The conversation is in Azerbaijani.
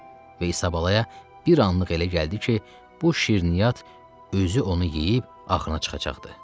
Və İsabalaya bir anlıq elə gəldi ki, bu şirniyyat özü onu yeyib axırına çıxacaqdı.